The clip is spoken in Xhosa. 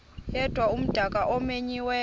yedwa umdaka omenyiweyo